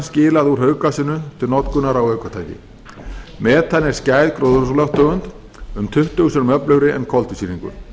skilið úr hauggasinu til notkunar á ökutæki metan er skæð gróðurhúsalofttegund um tuttugu sinnum öflugri en koltvísýringur